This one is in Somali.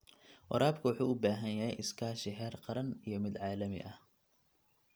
Waraabka wuxuu u baahan yahay iskaashi heer qaran iyo mid caalami ah.